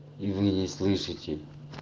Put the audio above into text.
и вы не слышите